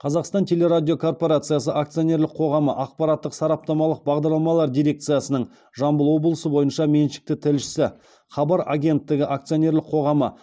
қазақстан телерадиокорпорациясы акционерлік қоғамы ақпараттық сараптамалық бағдарламалар дирекциясының жамбыл облысы бойынша меншікті тілшісі хабар агенттігі акционерлік қоғамы